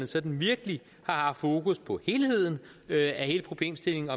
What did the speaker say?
sådan virkelig har haft fokus på helheden af hele problemstillingen